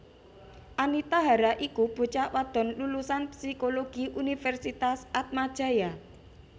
Anita Hara iku bocah wadon lulusan Psikologi Universitas Atmajaya